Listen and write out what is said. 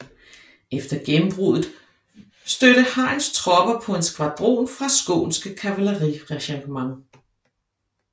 Efter gennembruddet støtte Heins tropper på en skvadron fra Skånska kavalleriregementet